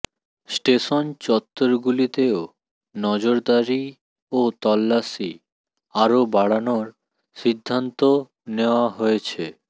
station চত্বরগুলিতেও নজরদারি ও তল্লাশি আরও বাড়ানোর সিদ্ধান্ত নেওয়া হয়েছে